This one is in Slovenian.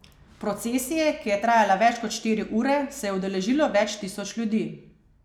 Procesije, ki je trajala več kot štiri ure, se je udeležilo več tisoč ljudi.